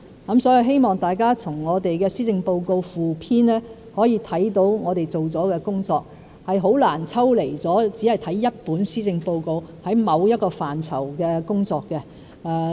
我希望大家從施政報告附篇可以看到我們做了的工作，原因是很難抽離地只看一本施政報告便能了解某一個範疇的工作。